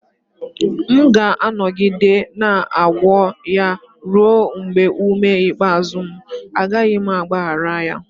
M ga-anọgide na-agwọ ya ruo mgbe ume ikpeazụ m, agaghị m agbaghara ya